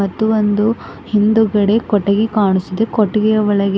ಮತ್ತು ಒಂದು ಹಿಂದುಗಡೆ ಕೊಟ್ಟಿಗೆ ಕಾಣಿಸಿದೆ ಕೊಟ್ಟಿಗೆ ಒಳಗೆ--